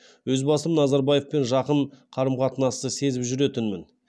өз басым назарбаевпен жақын қарым қатынасты сезіп жүретінмін